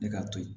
Ne k'a to yen